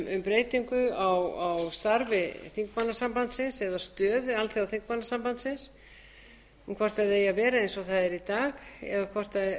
breytingu á starfi þingmannasambandsins eða stöðu alþjóðaþingmannasambandsins um hvort það eigi að vera eins og það er í dag eða hvort